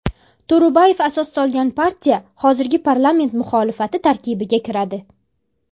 To‘ro‘bayev asos solgan partiya hozirda parlament muxolifati tarkibiga kiradi.